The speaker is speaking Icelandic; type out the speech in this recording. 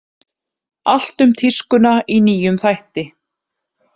Allt um tískuna í nýjum þætti